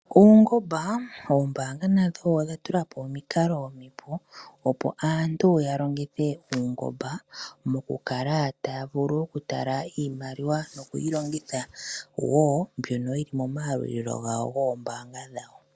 Uungoba, oombaanga nadho odha tulapo omikalo omipu, opo aantu ya longithe uungoba moku kala taya vulu oku tala iimaliwa noku yi longitha woo moma yalulilo gawo moombaanga dhawo.